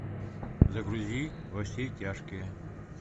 загрузи во все тяжкие